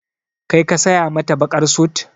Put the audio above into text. Kai ka saya mata baƙar sut?